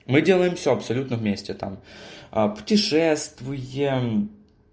мы делаем все абсолютно вместе там путешествуем